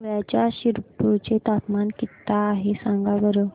धुळ्याच्या शिरपूर चे तापमान किता आहे सांगा बरं